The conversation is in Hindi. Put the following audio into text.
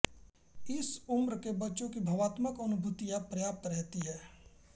इस उम्र के बच्चों की भावात्मक अनुभूतियाँ पर्याप्त रहती हैं